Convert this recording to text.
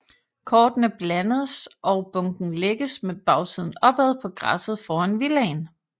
Kortene blandes og bunken lægges med bagsiden opad på græsset foran villaen